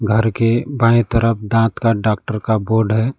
घर के बाएं तरफ दांत का डॉक्टर का बोर्ड है।